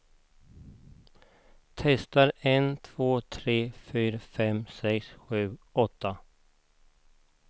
Testar en två tre fyra fem sex sju åtta.